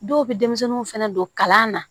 Dɔw bɛ denmisɛnninw fɛnɛ don kalan na